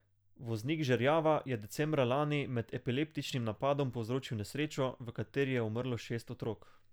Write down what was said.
Voznik žerjava je decembra lani med epileptičnim napadom povzročil nesrečo, v kateri je umrlo šest otrok.